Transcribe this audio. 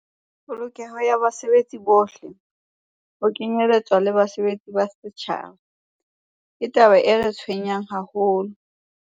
"Polokeho ya basebetsi bohle, ho kenyeletswa le basebeletsi ba setjhaba, ke taba e re tshwenyang haholo."